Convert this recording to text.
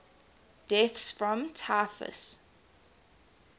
deaths from typhus